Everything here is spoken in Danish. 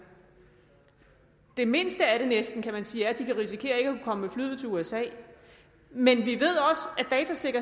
det mindste af det er næsten kan man sige at de kan risikere ikke at komme med flyet til usa men vi